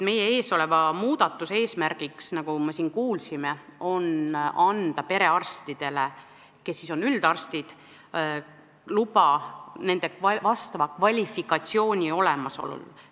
Meie ees oleva muudatuse eesmärk, nagu me siin kuulsime, on anda perearstidele, kes on üldarstid, luba kvalifikatsiooni olemasolu korral ...